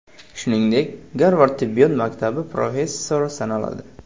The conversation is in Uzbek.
Shuningdek, Garvard tibbiyot maktabi professori sanaladi.